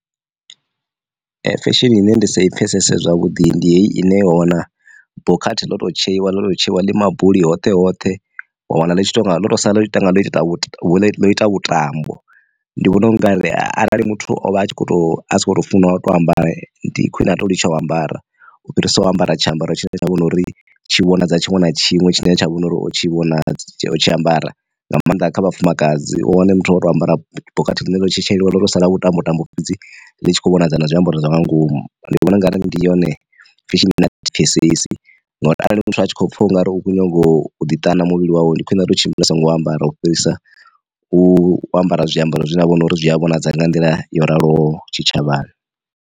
Fesheni ine ndi sa i pfesese zwavhuḓi ndi heyi ine wa wana bokhathi ḽo to tsheiwa ḽo tsheiwa ḽima buli hoṱhe hoṱhe wa wana ḽitshi to nga ḽo to sa ḽitangwa la ita vhutambo, ndi vhona unga arali muthu o vha a tshi kho to a si khou tou funa u to amba ndi khwine ha tou litsha o ambara u fhirisa u ambara tshiambaro tshine tsha vhori tshi vhona dza tshiṅwe na tshiṅwe tshine tsha vhona uri o tshi vhona tshi ambara nga maanḓa kha vhafumakadzi wane muthu wa tou ambara bokhathi ḽine ḽo tshetshelwa ḽo to sala vhuṱambo tambo fhedzi ḽi tshi khou vhonadza na zwi amba uri zwa nga ngomu. Ndi vhona ungari ndi yone fesheni ine athi i pfesesi ngori arali muthu a tshi khou pfha ungari u khou nyaga u ḓi ṱana muvhili wawe, ndi khwine a to tshimbila songo ambara u fhirisa u ambara zwiambaro zwi vhona uri zwi a vhonadza nga nḓila yo raloho tshi tshavhani.